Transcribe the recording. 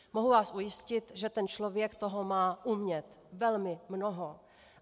Mohu vás ujistit, že ten člověk toho má umět velmi mnoho.